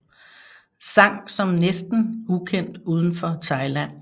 Sang Som er næsten ukendt uden for Thailand